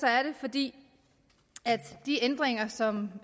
er det fordi de ændringer som